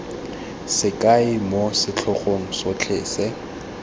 sekai moo setlhogo sotlhe se